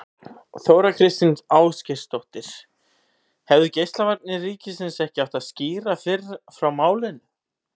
Þóra Kristín Ásgeirsdóttir: Hefðu Geislavarnir ríkisins ekki átt að skýra fyrr frá málinu?